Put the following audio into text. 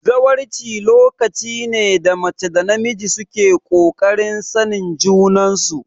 Zawarci lokaci ne da mace da namiji suke kokarin sanin junan su